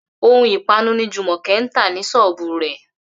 Ohun ìpanu ni Jùmọ̀kẹ́ ń tà ní ṣọ́ọ̀bù rẹ̀